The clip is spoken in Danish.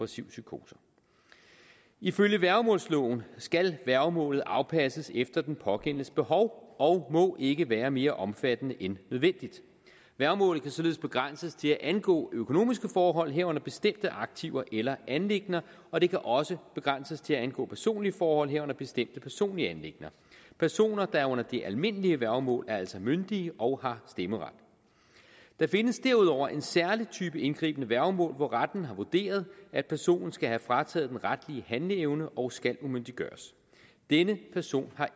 psykose ifølge værgemålsloven skal værgemålet afpasses efter den pågældendes behov og må ikke være mere omfattende end nødvendigt værgemålet kan således begrænses til at angå økonomiske forhold herunder bestemte aktiver eller anliggender og det kan også begrænses til at angå personlige forhold herunder bestemte personlige anliggender personer der er under det almindelige værgemål er altså myndige og har stemmeret der findes derudover en særlig type indgribende værgemål hvor retten har vurderet at personen skal have frataget den retlige handleevne og skal umyndiggøres denne person har